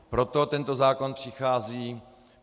Proto tento zákon přichází.